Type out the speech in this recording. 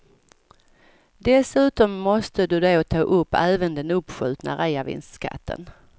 Dessutom måste du då ta upp även den uppskjutna reavinstskatten.